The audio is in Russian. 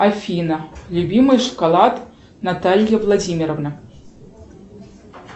афина любимый шоколад наталья владимировна